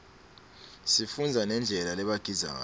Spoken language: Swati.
sifundza nendlela lebagidza ngayo